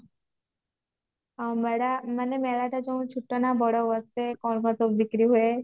ମେଳା ମାନେ ମେଳା ଟା ଯୋଉ ଛୋଟ ନା ବଡ ମେଳା କଣ କଣ ସବୁ ବିକ୍ରି ହୁଏ